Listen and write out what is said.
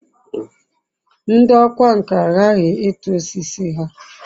ndi okwá nkà aghaghi itu osiso ha